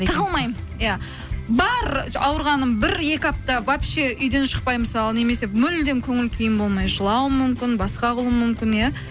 тығылмаймын иә бар ауырғаным бір екі апта вообще үйден шықпай мысалы немесе мүлдем көңіл күйім болмай жылауым мүмкін басқа қылуым мүмкін иә